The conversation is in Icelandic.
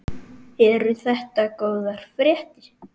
Eru þetta góðar fréttir?